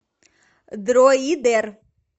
дроидер